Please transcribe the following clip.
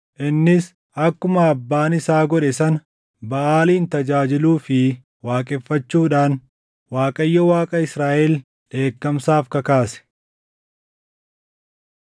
Innis akkuma abbaan isaa godhe sana Baʼaalin tajaajiluu fi waaqeffachuudhaan Waaqayyo Waaqa Israaʼel dheekkamsaaf kakaase.